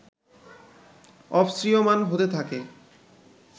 অপসৃয়মাণ হতে থাকে